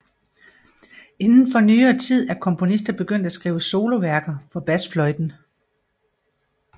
Inden for nyere tid er komponister begyndt at skrive soloværker for basfløjten